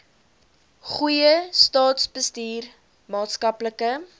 goeie staatsbestuur maatskaplike